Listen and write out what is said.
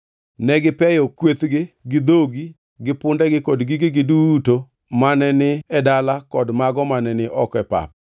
Negipeyo kwethgi gi dhogi gi pundegi kod gigegi duto mane ni e dala kod mago mane ni oko e pap.